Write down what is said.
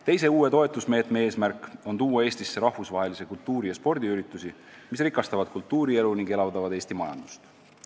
Teise uue toetusmeetme eesmärk on tuua Eestisse rahvusvahelisi kultuuri- ja spordiüritusi, mis rikastavad kultuurielu ning elavdavad Eesti majandust.